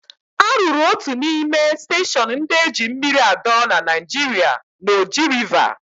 A rụrụ otu n'ime steshọn ndị eji mmiri adọrọ na Naịjirịa na Oji Rịva.